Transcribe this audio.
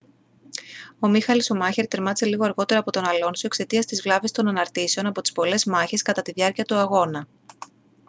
ο μίχαελ σουμάχερ τερμάτισε λίγο αργότερα από τον αλόνσο εξαιτίας της βλάβης των αναρτήσεων από τις πολλές μάχες κατά τη διάρκεια του αγώνα